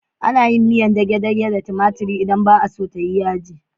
Ana yin miyar dage-dage da tumatiri idan ba a so ta yi yaji.